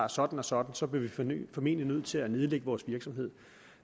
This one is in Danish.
sådan og sådan så vil vi formentlig blive nødt til at nedlægge vores virksomhed